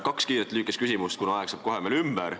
Kaks kiiret lühikest küsimust, kuna aeg saab kohe ümber.